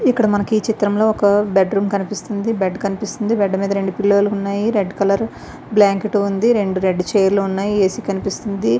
ఇక్కడ మనకు ఈ చిత్రంలో ఒక బెడ్ రూమ్ కనిపిస్తుంది. రెండు పిలో ఉన్నాయ్. రెడ్ కలర్ బ్లేకేట్ ఉన్నాయ్. రెండు రెడ్ చైర్స్ కనిపిస్తున్నాయి. ఏ_సీ ఉంది.